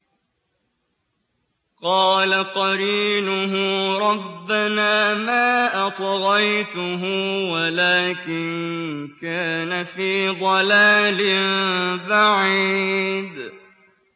۞ قَالَ قَرِينُهُ رَبَّنَا مَا أَطْغَيْتُهُ وَلَٰكِن كَانَ فِي ضَلَالٍ بَعِيدٍ